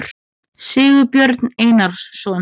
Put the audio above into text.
sigurbjörn einarsson